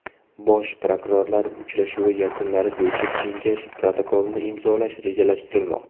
Bosh prokurorlar uchrashuvi yakunlari bo‘yicha Kengash protokolini imzolash rejalashtirilmoqda.